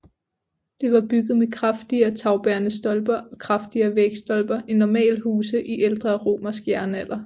Det var bygget med kraftigere tagbærende stolper og kraftigere vægstolper end normale huse i ældre romersk jernalder